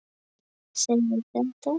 segir þetta